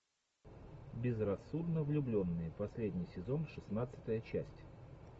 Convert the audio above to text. безрассудно влюбленные последний сезон шестнадцатая часть